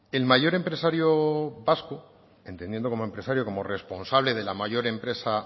el mayor empresario vasco entendiendo como empresario como responsable de la mayor empresa